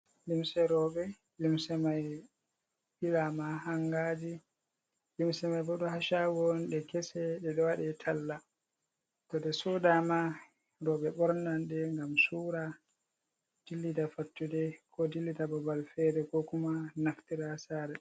Lumse roɓe. Lumse mai ɓila ma ha hangaji. Lumse mai ɗo ha shagoji on ɗe kese. Ɗe ɗo waɗe talla. Toɗe soda ma, robe ɓornan ɗe gam sura, dillida fattude, ko dillida babal fere, ko kuma naftira ha sare.